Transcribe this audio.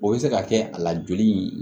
O bɛ se ka kɛ a la joli in